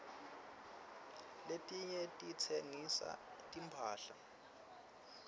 letinye titsengisa timphahla